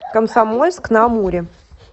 комсомольск на амуре